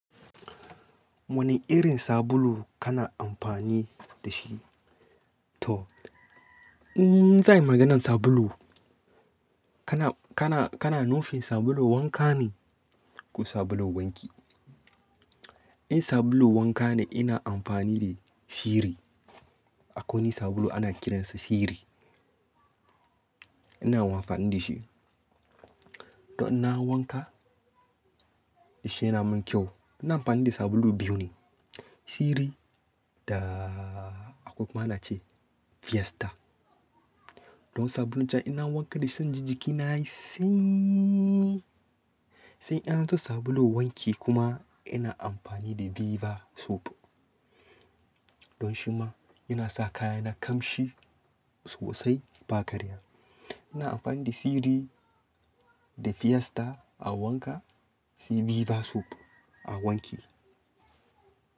Wani irin sabulu kana amfani da shi? To, zan yi maganan sabulu. Kana, kana, kana nufin sabulu wanka ne ko sabulu wanki? In sabulu wanka ne ina amfani da Siri. Akoni sabulu ana kiransa Siri. Ina amfani da shi. Don na wanka, ya sha yi na min kyau. Ina amfani da sabulu biyu ne, Siri da akwai kuma ana ce Fiesta. Don sabulun can ina wanka da shi sai inji jikina yayi sanyi. Sai yan su sabulu wanki kuma ina amfani da Viva Soap. Don shi ma yana sa kaya na kamshi sosai ba karya. Ina amfani da Siri da Fiesta a wanka sai Viva Soap a wanki.